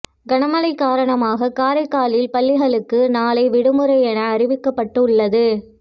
கனமழை காரணமாக காரைக்காலில் பள்ளிகளுக்கு நாளை விடுமுறை என அறிவிக்கப்பட்டு உள்ளது